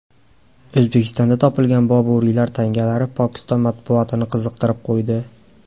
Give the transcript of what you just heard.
O‘zbekistondan topilgan Boburiylar tangalari Pokiston matbuotini qiziqtirib qo‘ydi.